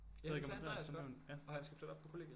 Ja det sagde Andreas godt og han skal flytte op på kollegiet